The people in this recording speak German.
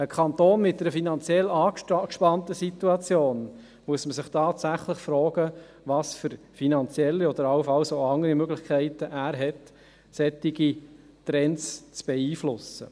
Bei einem Kanton mit einer finanziell angespannten Situation muss man sich tatsächlich fragen, welche finanziellen oder anderen Möglichkeiten er hat, um solche Trends zu beeinflussen.